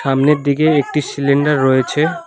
সামনের দিকে একটি সিলিন্ডার রয়েছে।